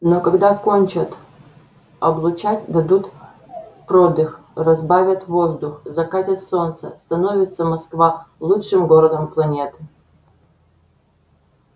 но когда кончат облучать дадут продых разбавят воздух закатят солнце становится москва лучшим городом планеты